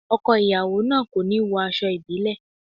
Ọkọ ìyàwó náà kò ní wọ aṣọ ìbílẹ̀.